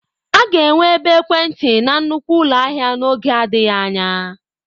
A ga-enwe ebe ekwentị na nnukwu ụlọ ahịa n'oge adịghị anya.